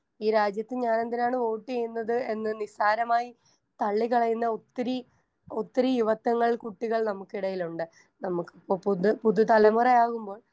Speaker 1 ഈ രാജ്യത്ത് ഞാനെന്തിനാണ് വോട്ട് ചെയ്യുന്നത് എന്ന് നിസ്സാരമായി തള്ളിക്കളയുന്ന ഒത്തിരി ഒത്തിരി യുവത്വങ്ങൾ കുട്ടികൾ നമുക്കിടയിലുണ്ട്. നമുക്കിപ്പോ പുത് പുതുതലമുറയാകുമ്പോൾ